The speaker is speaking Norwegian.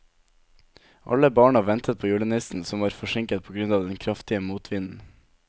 Alle barna ventet på julenissen, som var forsinket på grunn av den kraftige motvinden.